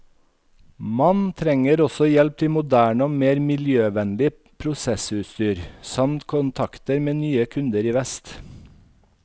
Man trenger også hjelp til moderne og mer miljøvennlig prosessutstyr, samt kontakter med nye kunder i vest.